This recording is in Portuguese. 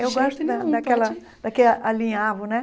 De jeito nenhum pode Eu gosto da daquela... Daquele alinhavo, né?